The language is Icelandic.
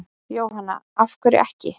Jóhanna: Af hverju ekki?